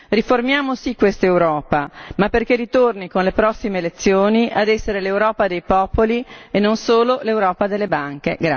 Riformiamo sì quest'Europa, ma perché ritorni con le prossime elezioni ad essere l'Europa dei popoli e non solo l'Europa delle banche.